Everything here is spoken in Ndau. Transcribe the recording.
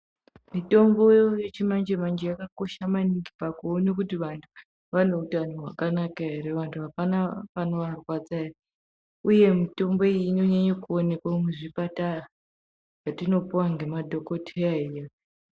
Mitombo yechimanje-manje yakakosha maningi pakuona kuti vantu vane utano hwakanaka ere. Vantu hapana panovarwadza ere, uye mitombo iyi inonyanya kuonekwa muzvipatara zvatinopuwa nemadhokotera edu.